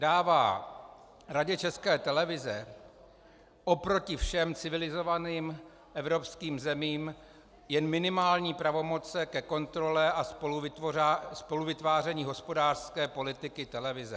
Dává Radě České televize oproti všem civilizovaným evropským zemím jen minimální pravomoci ke kontrole a spoluvytváření hospodářské politiky televize.